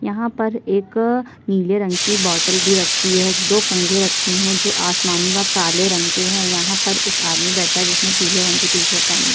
यहाँ पर एक नीले रंग की बोटल भी रखी है दो कंघे रखे है आस्मानिवा काले रंग के यहाँ पर एक आदमी बैठा है जिसने पिले रंग की टी शर्ट पहनी --